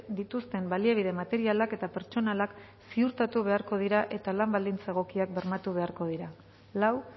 dituzten baliabide materialak eta pertsonalak ziurtatu beharko dira eta lan baldintza egokiak bermatu beharko dira lau